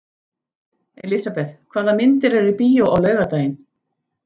Elisabeth, hvaða myndir eru í bíó á laugardaginn?